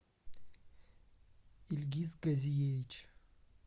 ильгиз газиевич